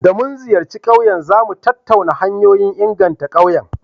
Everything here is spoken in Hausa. Da mun ziyarci ƙauyen, za mu tattauna hanyoyin inganta ƙauyen.